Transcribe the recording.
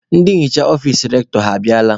Ndị nhicha ọfici Rektọ ha abịala?